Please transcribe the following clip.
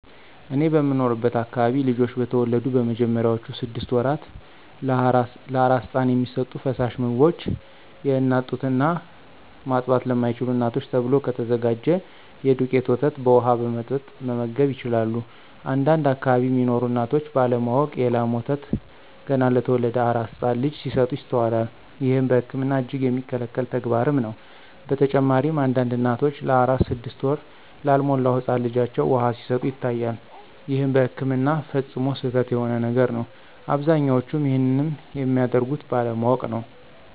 እኔ በምኖርበት አከባቢ ልጆች በተወለዱ በመጀመሪያዎቹ ስድሰት ወራት ለአራስ ህፃን የሚሰጡ ፈሳሽ ምግቦች የአናት ጡት እና ማጥባት ለማይችሉ እናቶች ተብሎ ከተዘጋጀ የዱቄት ወተት በውሃ በመበጥበጥ መመገብ ይችላሉ። አንዳንድ አከባቢ ሚኖሩ እናቶች ባለ ማወቅ የ ላም ወተት ገና ለተወለደ አራስ ህፃን ልጅ ሲሰጡ ይስተዋላል። ይህም በህክምና እጅግ የሚከለከል ተግባርም ነው። በተጨማሪም አንዳንድ እናቶች ለአራስ ስድስት ወር ላልሞላው ህፃን ልጃቸው ውሃ ሲሰጡ ይታያል ይህም በህክምና ፈፅሞ ስህተት የሆነ ነገር ነው። አብዛኞቹም ይንንም የሚያደርጉት ባለማወቅ ነው።